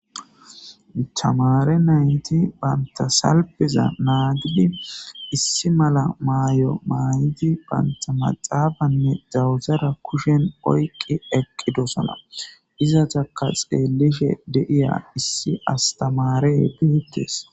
tamare nayti bantta salpeza nagidi issi mala maayo maayidi bantta maxafanne dawutara kushshen oyqi eqqidossana izatakka xeeliishshe de'iya issi astamare betees